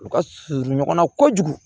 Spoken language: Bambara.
U ka surun ɲɔgɔn na kojugu